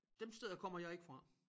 Dem steder kommer jeg ikke fra